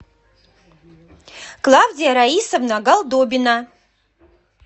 клавдия раисовна голдобина